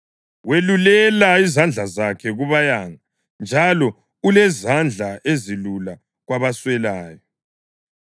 Welulela izandla zakhe kubayanga njalo ulezandla ezilula kwabaswelayo.